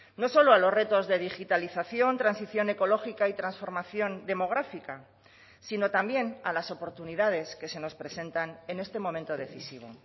no solo a los retos de digitalización transición ecológica y transformación demográfica sino también a las oportunidades que se nos presentan en este momento decisivo